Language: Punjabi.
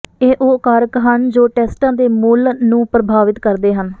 ਇਹ ਉਹ ਕਾਰਕ ਹਨ ਜੋ ਟੈਸਟਾਂ ਦੇ ਮੁੱਲ ਨੂੰ ਪ੍ਰਭਾਵਿਤ ਕਰਦੇ ਹਨ